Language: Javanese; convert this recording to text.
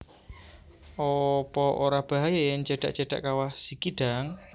Opo ora bahaya yen cedak cedak Kawah Sikidang